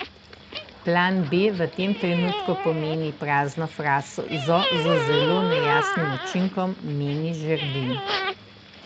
Plan B v tem trenutku pomeni prazno frazo z zelo nejasnim učinkom, meni Žerdin.